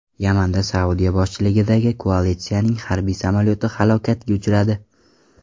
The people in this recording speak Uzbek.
Yamanda Saudiya boshchiligidagi koalitsiyaning harbiy samolyoti halokatga uchradi.